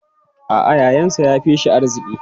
A'a, yayansa ya fi shi arziki.